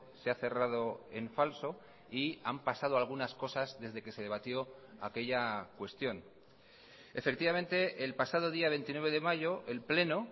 se ha cerrado en falso y han pasado algunas cosas desde que se debatió aquella cuestión efectivamente el pasado día veintinueve de mayo el pleno